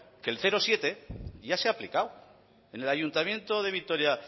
que el cero coma siete ya se ha aplicado en el ayuntamiento de vitoria